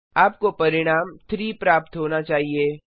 आपको परिणाम 3 प्राप्त होना चाहिए